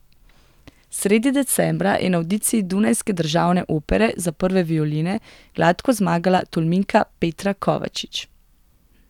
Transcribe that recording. Sredi decembra je na avdiciji Dunajske državne opere za prve violine gladko zmagala Tolminka Petra Kovačič.